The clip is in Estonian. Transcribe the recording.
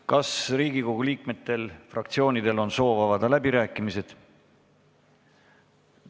Kas Riigikogu liikmetel või fraktsioonidel on soovi avada läbirääkimisi?